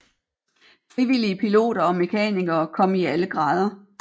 Frivillige piloter og mekanikere kom i alle grader